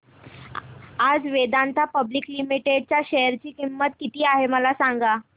आज Vedanta Public Limited च्या share ची किंमत किती आहे मला सांगा